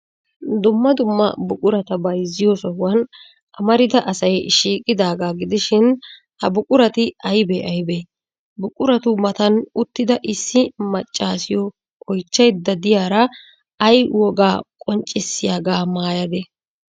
Dumma dumma buqurata byzziyo sohuwan amarida asay shiiqidaagaa gidishin, ha buqurati aybee aybee? Buquratu matan uttada issi maccaasiyo oychchaydda de'iyaara ay wogaa qonccissiyaagaa maayadee?